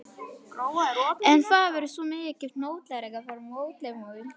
En það er svo miklu notalegra þar, mótmælum við.